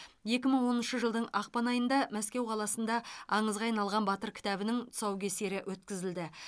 екі мың оныншы жылдың ақпан айында мәскеу қаласында аңызға айналған батыр кітабының тұсаукесері өткізілді